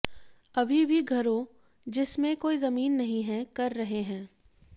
अभी भी घरों जिसमें कोई जमीन नहीं है कर रहे हैं